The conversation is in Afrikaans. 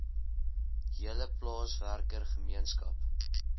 hele plaaswerker gemeenskap